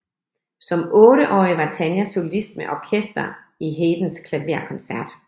Som otteårig var Tanja solist med orkester i Haydns klaverkoncert